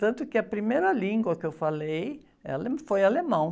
Tanto que a primeira língua que eu falei é ale, foi alemão.